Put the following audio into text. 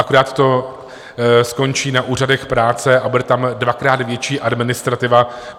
Akorát to skončí na úřadech práce a bude tam dvakrát větší administrativa.